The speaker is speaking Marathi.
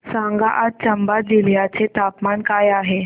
सांगा आज चंबा जिल्ह्याचे तापमान काय आहे